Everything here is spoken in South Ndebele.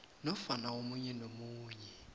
nofana omunye nomunye